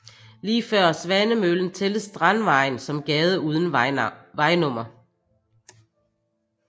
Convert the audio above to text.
Lige før Svanemøllen tælles Strandvejen som gade uden vejnummer